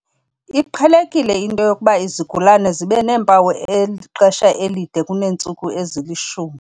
Iqhelekile into yokuba izigulana zibe neempawu ixesha elide kuneentsuku ezili-10.